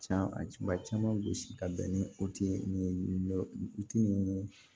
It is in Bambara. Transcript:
Can ma caman gosi ka bɛn ni o ti ye nin ti nin